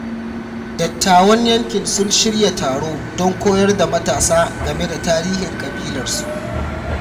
Dattawan yankin sun shirya taro don koyar da matasa game da tarihin ƙabilarsu.